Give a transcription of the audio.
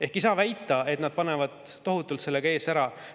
Ehk ei saa väita, et nad panevad tohutult ees ära.